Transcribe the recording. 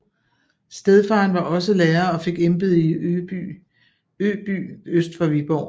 Stedfaren var også lærer og fik embede i Øby øst for Viborg